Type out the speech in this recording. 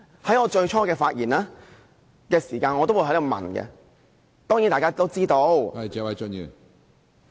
在我最初發言時我提出問題，當然，大家也知道......